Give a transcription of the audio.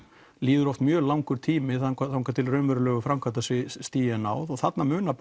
líður oft mjög langur tími þangað þangað til raunverulegu framkvæmdarstigi er náð og þarna munar